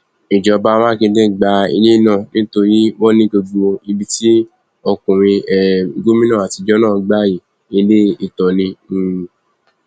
ìjọba mákindé gba ilé náà nítorí wọn ní gbogbo ibi tí ọkùnrin um gómìnà àtijọ náà gbà yìí ilé ìtàn ni um